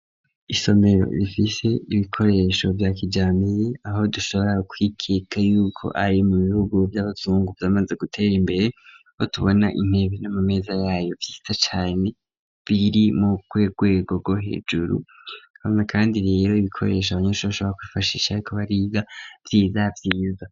Isomero rifise ibikoresho vya kijambere ,aho dushobora kwikeka y'uko ari mu bihugu vy'abazungu vyamaze gutera imbere, ho tubona intebe n'amameza yayo vyiza cane, biri mu gwego gwo hejuru hama kandi rero ibikoresho Abanyeshuri bashobora kwifashisha bariko bariga vyiza vyiza.